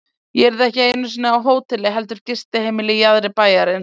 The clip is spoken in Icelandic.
Ég yrði ekki einu sinni á hóteli heldur gistiheimili í jaðri bæjarins.